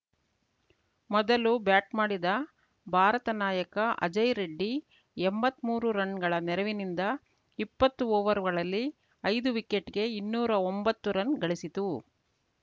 ಮೊದಲು ಬ್ಯಾಟ್‌ ಮಾಡಿದ ಭಾರತ ನಾಯಕ ಅಜಯ್‌ ರೆಡ್ಡಿ ಎಂಬತ್ಮೂರು ರನ್‌ಗಳ ನೆರವಿನಿಂದ ಇಪ್ಪತ್ತು ಓವರ್‌ಗಳಲ್ಲಿ ಐದು ವಿಕೆಟ್‌ಗೆ ಇನ್ನೂರಾ ಒಂಬತ್ತು ರನ್‌ಗಳಿಸಿತು